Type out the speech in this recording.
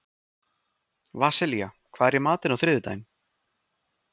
Vasilia, hvað er í matinn á þriðjudaginn?